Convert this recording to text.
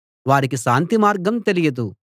వారికి శాంతిమార్గం తెలియదు